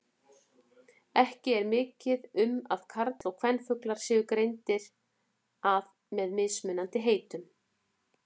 Ekki er mikið um að karl- og kvenfuglar séu greindir að með mismunandi heitum.